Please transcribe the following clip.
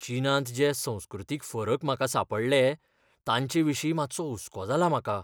चीनांत जे संस्कृतीक फरक म्हाका सांपडटले तांचेविशीं मातसो हुसको जाला म्हाका.